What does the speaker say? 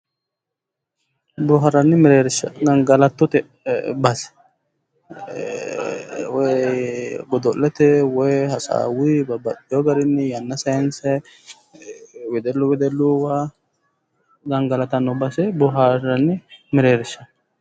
Booharanni mereersha gangalattote base, woyi godo'lete woyi hasaawunni danchu garinni yanna saynsa wedellu wedelluwa gangalantanni base booharanni mereersha